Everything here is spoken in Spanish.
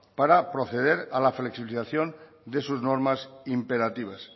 para proceder a la flexibilización de sus normas imperativas